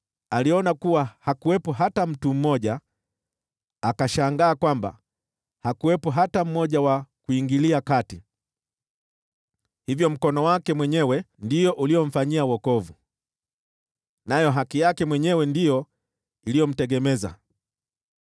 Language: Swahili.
Aliona kuwa hakuwepo hata mtu mmoja, akashangaa kwamba hakuwepo hata mmoja wa kuingilia kati; hivyo mkono wake mwenyewe ndio uliomfanyia wokovu, nayo haki yake mwenyewe ndiyo iliyomtegemeza.